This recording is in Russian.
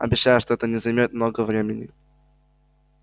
обещаю что это не займёт много времени